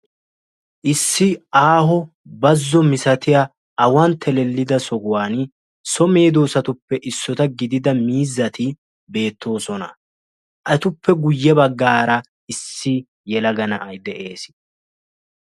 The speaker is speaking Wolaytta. issi aaho bazo misatiya awan telellida sohuwan so medosatuppe issota gidida miizzati beettoosona. Etuppe guye bagaara issi yelaga na"ay de"ees.